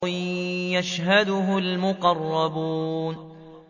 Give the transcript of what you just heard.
يَشْهَدُهُ الْمُقَرَّبُونَ